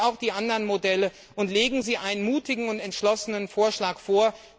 Prüfen Sie auch die anderen Modelle, und legen Sie einen mutigen und entschlossenen Vorschlag vor.